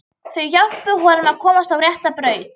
Þau hjálpuðu honum að komast á rétta braut.